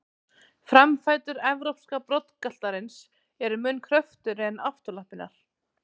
Framfætur evrópska broddgaltarins eru mun kröftugri en afturlappirnar.